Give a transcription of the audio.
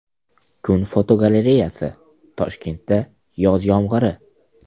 Kun fotogalereyasi: Toshkentda yoz yomg‘iri .